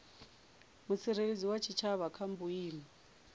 mutsireledzi wa tshitshavha kha vhuimo